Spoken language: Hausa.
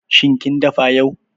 Shin kin dafa taliya yau?